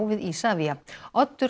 við Isavia Oddur